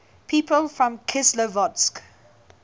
people from kislovodsk